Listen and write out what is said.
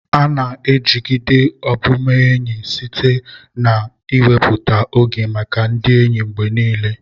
A ga-ejigide ọbụbụenyi site n'iwepụta oge maka ndị enyi mgbe niile.